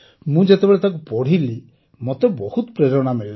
ମୁଁ ଯେତେବେଳେ ତାକୁ ପଢ଼ିଲି ମୋତେ ବହୁତ ପ୍ରେରଣା ମିଳିଲା